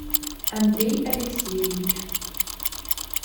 андрей алексеевич